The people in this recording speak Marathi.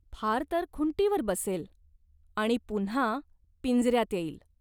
फार तर खुंटीवर बसेल. आणि पुन्हा पिंजऱ्यात येईल.